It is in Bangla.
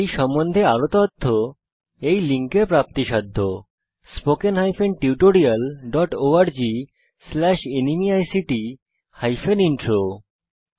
এই সম্বন্ধে আরও তথ্য spoken hyphen tutorial dot org slash NMEICT hyphen intro ওয়েবসাইটে দেখতে পারেন